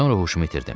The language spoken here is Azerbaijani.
Sonra huşumu itirdim.